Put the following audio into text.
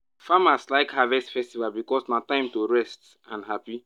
farmers like harvest festival because na time to rest and happy.